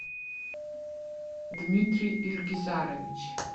дмитрий ильгизарович